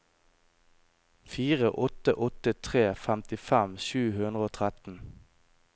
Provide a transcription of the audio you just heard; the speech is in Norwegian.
fire åtte åtte tre femtifem sju hundre og tretten